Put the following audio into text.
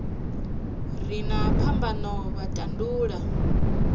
re na phambano vha tandulula